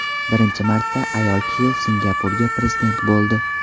Birinchi marta ayol kishi Singapurga prezident bo‘ldi.